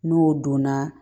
N'o donna